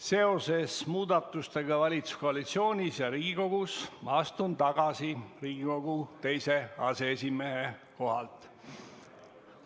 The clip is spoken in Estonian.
Seoses muudatustega valitsuskoalitsioonis ja Riigikogus ma astun tagasi Riigikogu teise aseesimehe kohalt.